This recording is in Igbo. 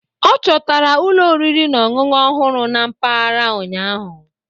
Ọ chọtara ụlọ oriri na ọṅụṅụ ọhụrụ na mpaghara ụnyahụ.